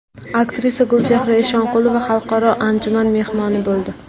Aktrisa Gulchehra Eshonqulova xalqaro anjuman mehmoni bo‘ldi.